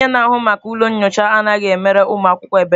Onye na-ahụ maka ụlọ nyocha anaghị emere ụmụ akwụkwọ ebere.